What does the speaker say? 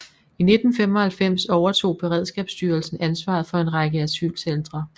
I 1995 overtog beredskabsstyrelsen ansvaret for en række asylcentre